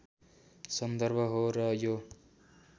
सन्दर्भ हो र यो